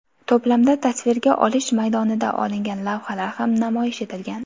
To‘plamda tasvirga olish maydonida olingan lavhalar ham namoyish etilgan.